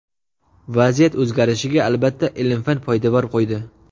Vaziyat o‘zgarishiga, albatta, ilm-fan poydevor qo‘ydi.